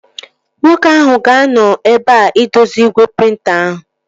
Nwoke ahụ ga-anọ ebea idozi igwe prịnta ahụ